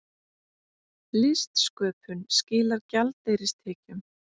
Listsköpun skilar gjaldeyristekjum